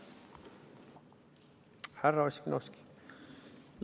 Härra Ossinovski!